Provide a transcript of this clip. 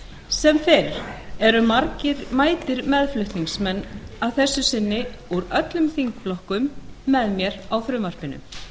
sem fyrr eru margir mætir meðflutningsmenn og að þessu sinni úr öllum þingflokkum með mér á frumvarpinu